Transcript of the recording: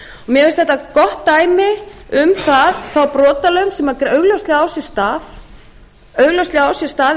mér finnst þetta gott dæmi um þá brotalöm sem augljóslega á sér stað